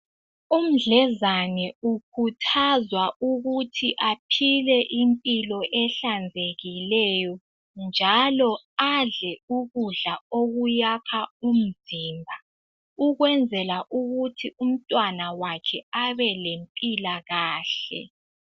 Umdlezane ukhuthazwa ukuthi aphile impilo ehlazekileyo njalo adle ukudla okuyakha umzimba ukwenzela ukuthi umntwana wakhe abelempilakahle.